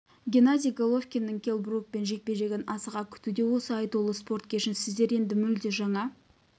геннадий головкиннің келл брукпен жекпе-жегін асыға күтуде осы айтулы спорт кешін сіздер енді мүлде жаңа